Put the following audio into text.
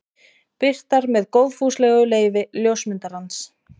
Birtar með góðfúslegu leyfi ljósmyndarans.